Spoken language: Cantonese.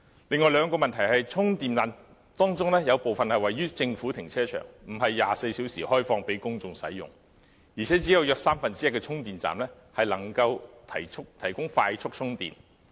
另外兩個問題是，充電站當中，有部分是位於政府停車場，並非24小時開放給公眾使用，而且約只有三分之一的充電站能夠提供快速充電。